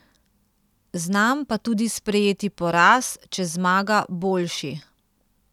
Znam pa tudi sprejeti poraz, če zmaga boljši.